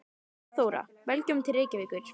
Kæra Þóra. Velkomin til Reykjavíkur.